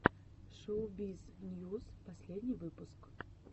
шоубиз ньюс последний выпуск